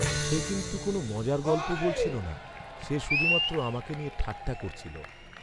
সে কিন্তু কোন মজার গল্প বলছিল না, সে শুধুমাত্র আমাকে নিয়ে ঠাট্টা করছিল।